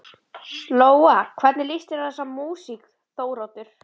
Lóa: Hvernig lýst þér á þessa músík Þóroddur?